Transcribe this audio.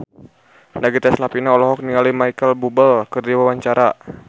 Nagita Slavina olohok ningali Micheal Bubble keur diwawancara